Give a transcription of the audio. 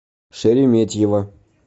шереметьево